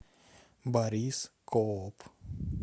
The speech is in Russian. борис кооп